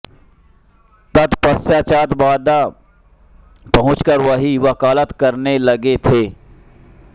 तत्पश्चात् बाँदा पहुँचकर वहीं वकालत करने लगे थे